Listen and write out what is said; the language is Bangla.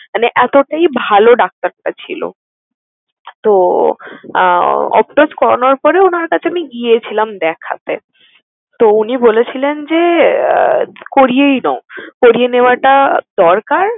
মানে এতোটাই ভালো ডাক্তারটা ছিলো। তো আহ optos করানোর পরে উনার কাছে আমি গিয়েছিলাম দেখাতে। তো উনি বলেছিলেন যে আহ করিয়েই নাও। করিয়ে নেওয়াটা দরকার।